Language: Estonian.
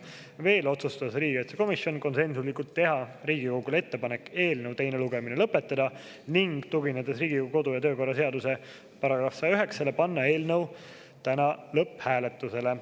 Veel otsustas riigikaitsekomisjon konsensuslikult teha Riigikogule ettepaneku eelnõu teine lugemine lõpetada, ning tuginedes Riigikogu kodu- ja töökorra seaduse § 109-le, panna eelnõu täna lõpphääletusele.